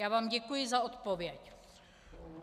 Já vám děkuji za odpověď.